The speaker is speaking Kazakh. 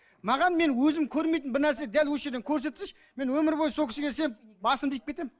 маған мен өзім көрмейтін бір нәрсе дәл осы жерден көрсетсінші мен өмір бойы сол кісіге сеніп басымды иіп кетемін